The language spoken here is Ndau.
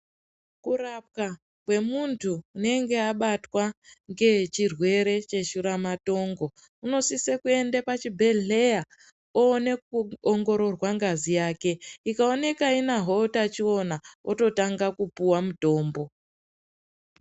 Kurapwa kwemuntu unenge abatwa ngechirwere cheshuramatongo, unosise kuende pachibhedhleya oone kuongororwa ngazi yake. Ikaoneka inahwo utachiona, ototanga kupuwa mutombo.